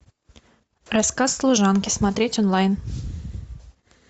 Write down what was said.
рассказ служанки смотреть онлайн